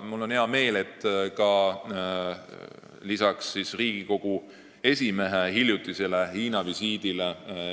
Mul on hea meel, et lisaks Riigikogu esimehe hiljutisele Hiina visiidile